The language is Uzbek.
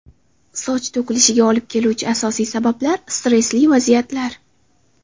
Soch to‘kilishiga olib keluvchi asosiy sabablar: Stressli vaziyatlar.